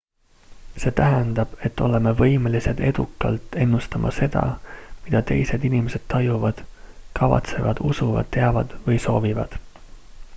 see tähendab et oleme võimelised edukalt ennustama seda mida teised inimesed tajuvad kavatsevad usuvad teavad või soovivad